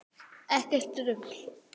Ekkert rugl.